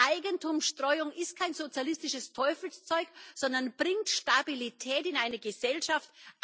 Eigentumsstreuung ist kein sozialistisches Teufelszeug, sondern bringt Stabilität in eine Gesellschaft.